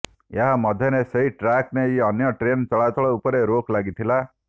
ଏହା ମଧ୍ୟରେ ସେହି ଟ୍ରାକ ଦେଇ ଅନ୍ୟ ଟ୍ରେନ ଚଳାଚଳ ଉପରେ ରୋକ ଲାଗିଥିଲା